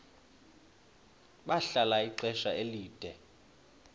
bahlala ixesha elide